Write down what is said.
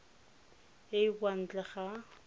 e e kwa ntle ga